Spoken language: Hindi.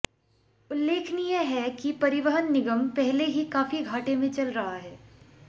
उल्लेखनीय है कि परिवहन निगम पहले ही काफी घाटे में चल रहा है